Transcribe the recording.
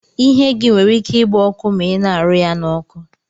Ihe gi nwere ike igba ọkụ ma ina arụ ya na oku.